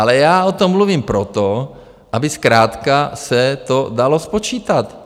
Ale já o tom mluvím proto, aby zkrátka se to dalo spočítat.